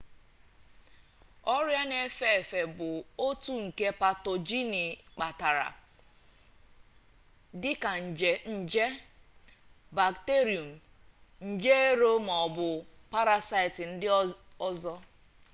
ọrịa na-efe efe bụ otu nke patoginụ kpatara dị ka nje bakterium nje ero ma ọ bụ parasaịtị ndị ọzọ